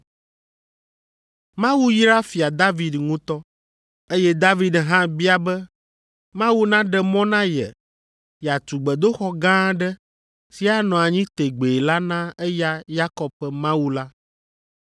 Mawu yra Fia David ŋutɔ, eye David hã bia be Mawu naɖe mɔ na ye yeatu gbedoxɔ gã aɖe si anɔ anyi tegbee la na eya Yakob ƒe Mawu la.